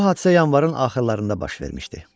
Bu hadisə yanvarın axırlarında baş vermişdi.